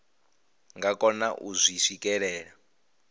nga kona u zwi swikelela